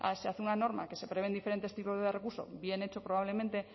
se hace una norma que se prevén diferentes tipos de recurso bien hecho probablemente